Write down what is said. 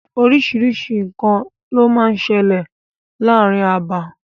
Oríṣiríṣi nǹkan ló máa ń sẹlẹ̀ ní ààrin abà.